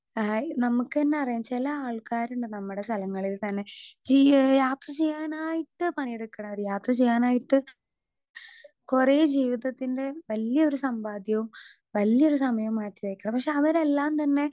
Speaker 2 hi നമ്മക്കന്നറിയാം ചെല ആൾക്കാരിണ്ട് നമ്മളെ സ്ഥലങ്ങളിൽ തന്നെ ചീയ്യ് യാത്ര ചെയ്യാനായിട്ട് പണിയെടുക്ക്ണവര് യാത്ര ചെയ്യാനായിട്ട് കൊറേ ജീവിതത്തിന്റെ വല്ല്യൊരു സമ്പാദ്യവും വല്ല്യൊരു സമയവും മാറ്റി വെക്കും പക്ഷെ അവരെല്ലാം തന്നെ.